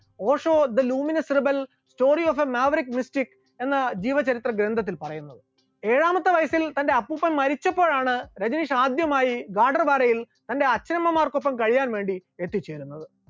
Osho the luminous rebel story of a maverick mystic എന്ന ജീവചരിത്ര ഗ്രന്ഥത്തിൽ പറയുന്നത്, ഏഴാമത്തെ വയസ്സിൽ തന്റെ അപ്പൂപ്പൻ മരിച്ചപ്പോഴാണ് രജനീഷ് ആദ്യമായി ഗദർവാരയിൽ തന്റെ അച്ഛനമ്മമാർക്കൊപ്പം കഴിയാൻ വേണ്ടി എത്തിച്ചേരുന്നത്.